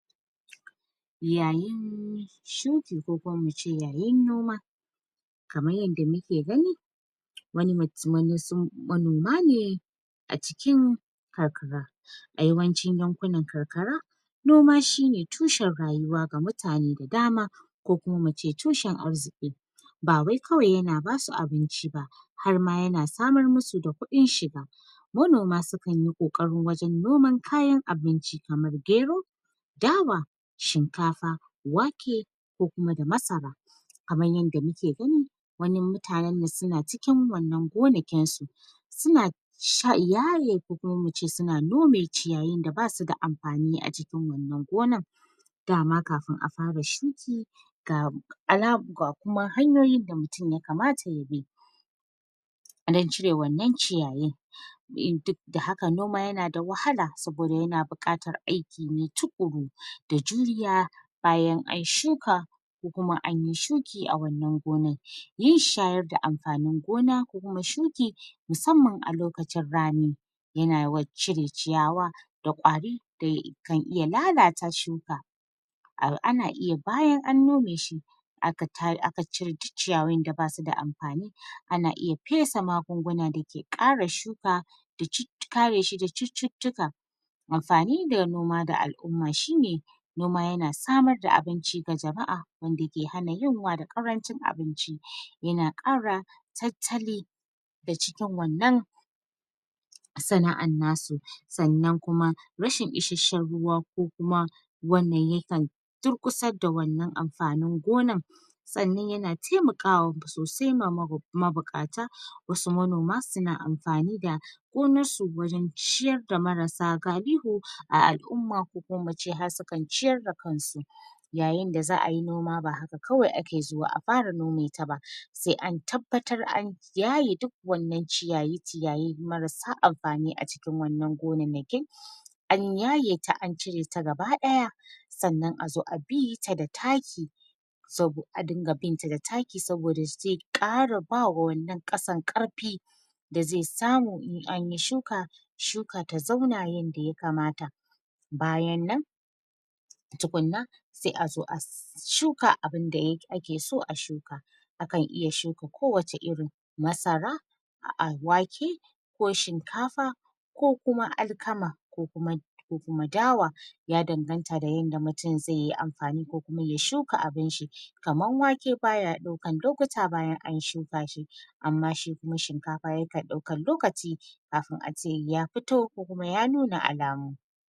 Yayin shuki ko kuma mu ce yayin noma kamar yanda mu ke gani wani mutum wasu manoma ne a cikin karkara, a yawancin yankunan karkara noma shine tushen rayuwa ga mutane da dama ko kuma mu ce tushen arziƙi, ba wai kawai ya na ba su abinci ba harma ya na samar ma su da kuɗin shiga, manoma sukan yi ƙoƙari wajen noman kayan abinci kamar: Gero, dawa, shinkafa, wake, ko kuma da masara, kamar yanda mu ke gani wannan mutanen nan su na cikin wannan gonakinsu su na su na yaye ko kuma mu ce su na nome ciyayin da ba su da amfani a cikin wannan gonar, dama kafin a fara shuki ga kuma hanyoyin da mutum yakamata ya bi don cire wannan ciyayin, duk da haka noma ya na da wahala, saboda ya na buƙatar aiki ne tuƙuru da juriya bayan an shuka ko kuma anyi shuki a wannan gonar, yin shayar da amfanin gona ko kuma shuki musamman a lokacin rani ya na yawan cire ciyawa da ƙwari da kan iya lalata shuka, ana iya bayan an nome shi aka cire duk ciyawun da ba su da amfani ana iya fesa magunguna da ke kare shuka da cututtuka... kare shi da cututtuka amfani da noma da al'umma shine noma yana samar da abinci ga jama'a wanda ke hana yunwa da ƙarancin abinci, ya na ƙara tattali da cikin wannan sana'ar na su, sannan kuma rashin isashshen ruwa ko kuma wannan yakan durƙusar da wannan amfanin gonan, sannan ya na taimakawa sosai ma mabuƙata, wasu manoma su na amfani da gonarsu wajen ciyarda marasa galihu a al'umma ko ku ma mukan ce har sukan ciyar da kansu, yayinda za'ayi noma ba haka kawai ake zuwa a fara nometa ba, sai an tabbatar an yaye duk wannan ciyayi ciyayi marasa amfani a cikin waɗannan gonakin an yaye ta an cire ta gaba ɗaya sannan a zo a bita da taki a dinga binta da taki saboda zai ƙara ba wa wannan ƙasar ƙarfi da zai samu in anyi shuka shuka ta zauna yanda yakamata, bayan nan tukunna sai azo a shuka abinda ake so a shuka, akan iya shuka ko wace irin masara, a'a wake, ko shinkafa ko kuma alkama, ko kuma ko kuma dawa, ya danganta da yadda mutum zai yi amfani ko ya shuka abun shi, kamar wake baya ɗaukar lokuta bayan an shuka shi, amma shi kuma shinkafa yakan ɗaukan lokaci kafin ace ya fito ko kuma ya nuna alamu.